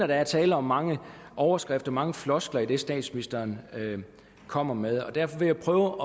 der er tale om mange overskrifter mange floskler i det statsministeren kommer med og derfor vil jeg prøve